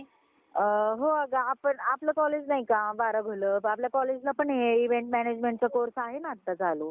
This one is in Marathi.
अ हो अगं आपण आपलं college नाही का बारा आपल्या college ला हे event management चा course आहे ना आता चालु.